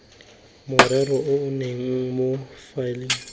morero o nne mo faeleng